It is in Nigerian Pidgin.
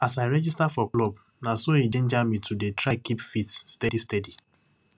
as i register for the club naso e ginger me to dey try keep fit steadysteady